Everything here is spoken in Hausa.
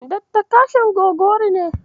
Dakta Kasim Gogori ne.